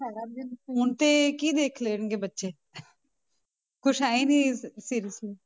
ਸਾਰਾ ਦਿਨ phone ਤੇ ਕੀ ਦੇਖ ਲੈਣਗੇ ਬੱਚੇ ਕੁਛ ਹੈ ਹੀ ਨੀ ਫਿਰ